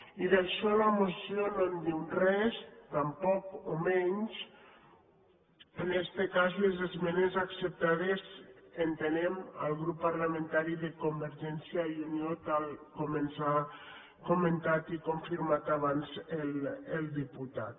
i d’això la moció no en diu res tampoc o menys en este cas les esmenes acceptades entenem al grup parlamentari de convergència i unió tal com ens ha comentat i confirmat abans el diputat